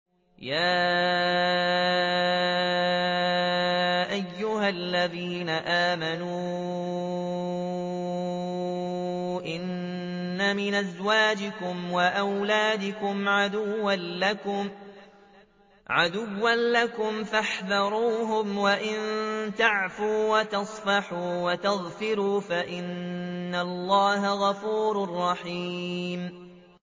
يَا أَيُّهَا الَّذِينَ آمَنُوا إِنَّ مِنْ أَزْوَاجِكُمْ وَأَوْلَادِكُمْ عَدُوًّا لَّكُمْ فَاحْذَرُوهُمْ ۚ وَإِن تَعْفُوا وَتَصْفَحُوا وَتَغْفِرُوا فَإِنَّ اللَّهَ غَفُورٌ رَّحِيمٌ